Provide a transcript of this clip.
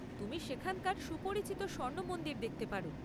তুমি সেখানকার সুপরিচিত স্বর্ণ মন্দির দেখতে পার।